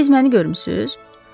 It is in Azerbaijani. Siz məni görmüsünüz?